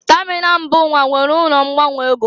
Tamịnal mba ụwa nwere ụlọ ngbanwe ego.